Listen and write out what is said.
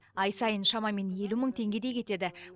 ай сайын шамамен елу мың теңгедей кетеді